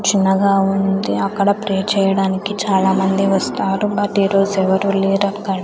చిన్నగా ఉంది అక్కడ ప్రేర్ చేయడానికి చాలామంది వస్తారు బట్ ఈరోజు ఎవరూ లేరక్కడ.